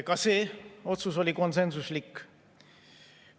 Ka see otsus oli konsensuslik.